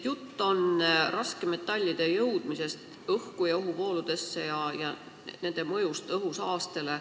Jutt on raskmetallide osakeste jõudmisest õhku ja nende mõjust õhusaastele.